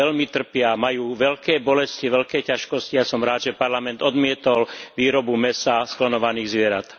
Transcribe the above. Veľmi trpia, majú veľké bolesti, veľké ťažkosti a som rád, že Parlament odmietol výrobu mäsa z klonovaných zvierat.